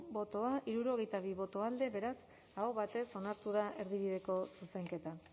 bozka hirurogeita bi boto alde beraz aho batez onartu da erdibideko zuzenketa